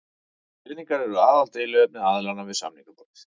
Peningar eru aðaldeiluefni aðilanna við samningaborðið